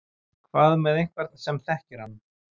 Hvað með einhvern sem þekkir hann?